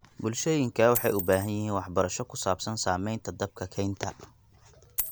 Bulshooyinka waxay u baahan yihiin waxbarasho ku saabsan saamaynta dabka kaynta.